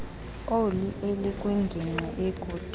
oli elikwingingqi ekude